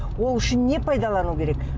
ол үшін не пайдалану керек